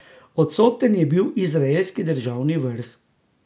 Odsoten je bil izraelski državni vrh.